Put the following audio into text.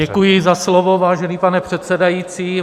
Děkuji za slovo, vážený pane předsedající.